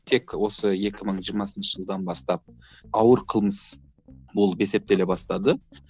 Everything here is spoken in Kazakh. тек осы екі мың жиырмасыншы жылдан бастап ауыр қылмыс болып есептеле бастады